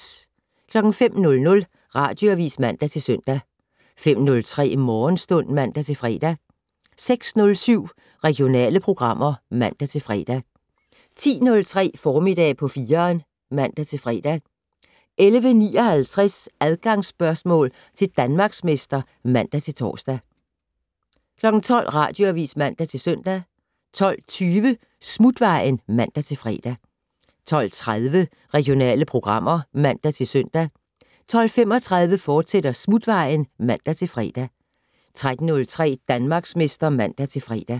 05:00: Radioavis (man-søn) 05:03: Morgenstund (man-fre) 06:07: Regionale programmer (man-fre) 10:03: Formiddag på 4'eren (man-fre) 11:59: Adgangsspørgsmål til Danmarksmester (man-tor) 12:00: Radioavis (man-søn) 12:20: Smutvejen (man-fre) 12:30: Regionale programmer (man-søn) 12:35: Smutvejen, fortsat (man-fre) 13:03: Danmarksmester (man-fre)